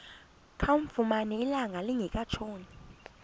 kamfumana ilanga lingekatshoni